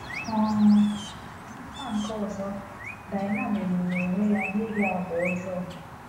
um N’aka nke ọzọ, Dina merụrụ onwe ya n’ihi àgwà ọjọọ.